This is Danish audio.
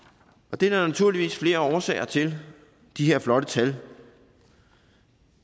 det er der naturligvis flere årsager til de her flotte tal